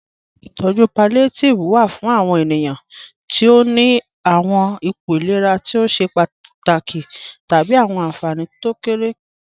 Itọju pallíátívẹ̀ wà fún àwọn ènìyàn tí ó ní àwọn ìpọ̀ ìlẹ̀rà tó ṣẹ̀ pátákì tábí àwọn ànfánì tí kò kéré